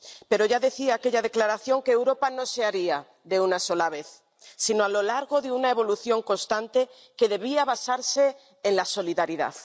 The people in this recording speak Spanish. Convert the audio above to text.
Pero ya decía aquella Declaración que Europa no se haría de una sola vez, sino a lo largo de una evolución constante que debía basarse en la solidaridad.